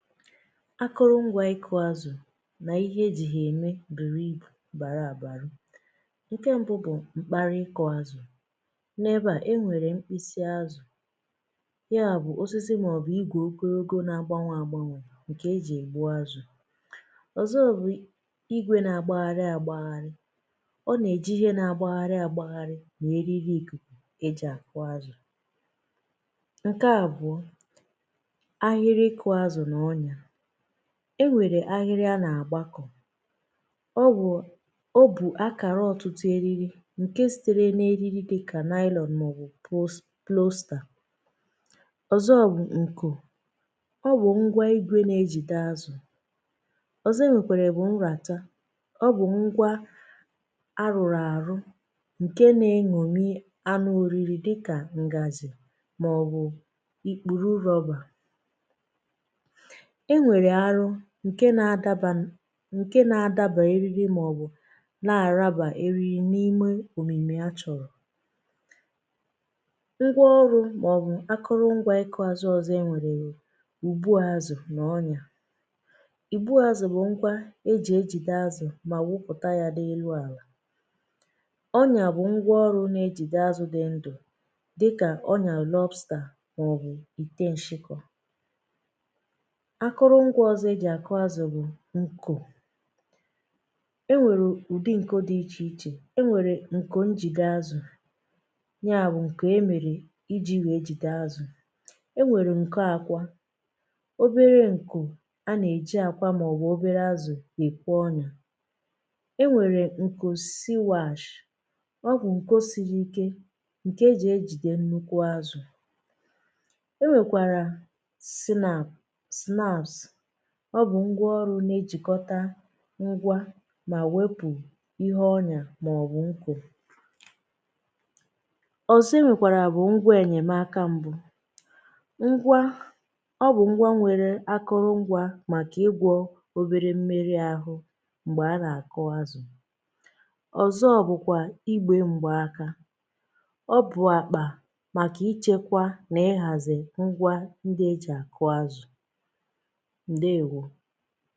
akụrụ ngwā ịkụ̄ azụ̀ nà ihe ejì hà ème bùrù ibù bàra àbàrụ ǹke m̄bụ bụ̀ mkpali ịkụ̄ azụ̀ n’ebeà e nwèrè mkpịsị azụ̀ ya bụ̀ osisi màọ̀bụ̀ igwē ogologo na-agbanwē agbanwè ǹkè ejì ègbu azụ̀ ọ̀zọ bụ̀ igwē na-agbaharị āgbaharị ọ nà-èji ihe nā-agbaharị āgbaharị nà eriri ìkùkù ejì àkụ azụ̀ ǹke àbụ̀ọ ahịrị ịkụ̄ azụ̀ nà ọnyā e nwèrè ahịrị a nà-àgbakọ̀ ọ wụ̀, o bù akàra ọ̀tụtụ eriri ǹke sītere n’eriri dịkà nylon màọ̀bụ̀ pos plostà ọ̀zọ bụ̀ ǹkù ọ bụ̀ ngwa igwē na-ejìde azụ̀ ọ̀zọ e nwèkèrè bụ̀ nràta, ọ bụ̀ ngwa a rụ̀rụ̀ àrụ ǹke nā-en̄òmi anụ ōriri dịkà ǹgàzhì màọ̀bụ̀ ì kpùru rọ̄bà e nwèrè arụ ǹke na-adabā n ǹke na-adabà eriri màọ̀bụ̀ na-àrabà eriri n’ime òmìmì a chọ̀rọ̀ ngwa ọrụ̄ màọ̀bụ̀ akụrụ ngwā ịkụ̄ azụ̄ ọzọ e nwèrè bụ̀ ùbu azụ̀ nà ọnyà ìbu azụ̀ bụ̀ ngwa ejì ejìde azụ̀ mà wụpụ̀ta hā n’elu àlà ọnyà bụ̀ ngwa ọrụ̄ na-ejìde azụ̄ dị ndụ̀ dịkà ọnyà lobster màọ̀bụ̀ ìte nshịkọ̄ akụrụ ngwā ọ̀zọ ejì àkụ azụ̀ bụ̀ ǹkò e nwèrè ụ̀dị ǹko dị̄ ichè ichè, e nwèrè ǹko njìde azụ̀ ya bụ̀ ǹkè e mèrè ijī wèe jidè azụ̀, e nwèrè ǹko ākwa obere ǹkò a nà-èji àkwa màọ̀bụ̀ obere azụ̀ èkwo ọnyà e nwèrè ǹkò siwāshì ọ bụ̀ nkò siri ike ǹkè ejì ejìde nnukwu azụ̀ e nwèkàrà sinap snaps ọ bụ̀ ngwa ọrụ̄ na-ejìkọta ngwa mà wepù ihe ọnyà màọ̀bụ̀ nkò ọ̀zọ e nwèkàrà bụ̀ ngwa ènyèmaka m̄bụ ngwa, ọ bụ̀ ngwa nwere akụrụ ngwā màkà ịgwọ̄ obere mmeri āhụ̄ m̀gbè a nà-àkụ azụ̀ ọ̀zọ bụ̀kwà igbē m̀kpaaka ọ bụ̀ àkpà màkà ichēkwa nà ịhàzì ngwa ndị ejì àkụ azụ̀ ǹdeèwo